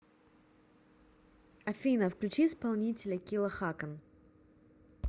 афина включи исполнителя килла хакан